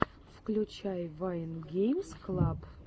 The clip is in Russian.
включай вайн геймс клаб